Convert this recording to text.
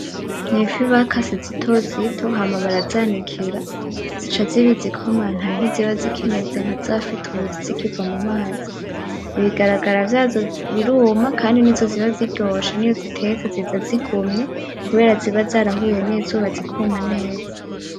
N'ifi bakase zitozito hama barazanikira zica ziba izikompantaye ntiziba zikimeze nkazafi tuzi zikiva mu mazi. Ibigaragara vyazo biruma kandi nizo ziba ziryoshe niyo uzitetse ziza zigumye kubera ziba zarahuye n'izuba zikuma neza.